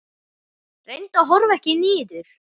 Reyndu að horfa ekki niður.